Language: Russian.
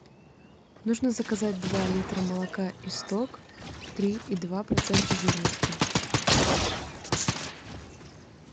нужно заказать два литра молока исток три и два процента жирности